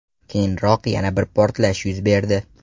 Keyinroq yana bir portlash yuz berdi .